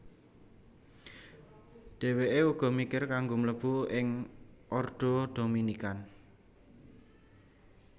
Dheweke uga mikir kanggo mlebu ing Ordo Dominican